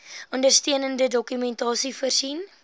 ondersteunende dokumentasie voorsien